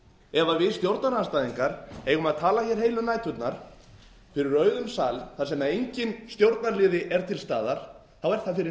ef við stjórnarandstæðingar eigum að tala heilu næturnar fyrir auðum sal þar sem enginn stjórnarliði er til staðar þá er það fyrir